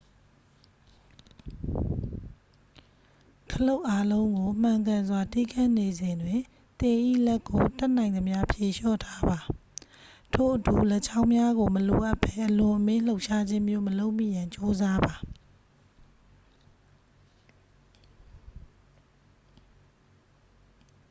ခလုတ်အားလုံးကို မှန်ကန်စွာတီးခတ်နေစဉ်တွင် သင်၏လက်ကို တတ်နိုင်သမျှ ဖြေလျှော့ထားပါ ထို့အတူ လက်ချောင်းများကို မလိုအပ်ဘဲအလွန်အမင်းလှုပ်ရှားခြင်းမျိုးမလုပ်မိရန် ကြိုးစားပါ